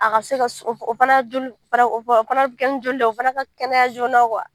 A ka se ka o fana kɛnɛ ye o fana ka kɛnɛya joona